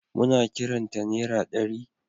Muna kiran ta nera ɗari.